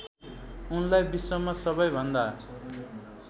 उनलाई विश्वमा सबैभन्दा